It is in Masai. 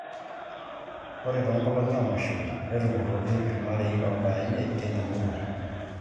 Ore toonkolong'I oomashoi netupurroki irmarei oobaya imiet tina murua